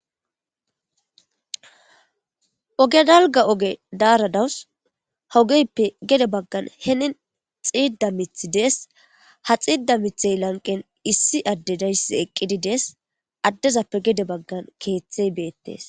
oge dalga oge daaradawus hogeyppe gede baggan henin xiida mithi dees ha xiida mithey lanqen issi adde dayss eqqidi dees addezappe gede baggan keeththey beettes